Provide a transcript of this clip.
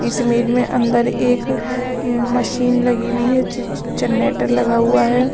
इस इमेज में अंदर एक मशीन लगी हुई है जनरेटर लगा हुआ है।